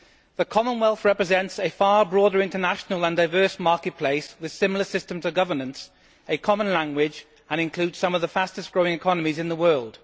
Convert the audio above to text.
The Commonwealth represents a far broader international and diverse market place with similar systems of governance and a common language and includes some of the fastest growing economies in the world.